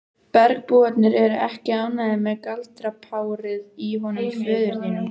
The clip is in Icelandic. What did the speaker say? Bergbúarnir eru ekki ánægðir með galdrapárið í honum föður þínum.